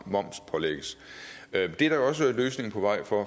momspålægges det er der også en løsning på vej af for